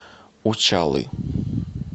учалы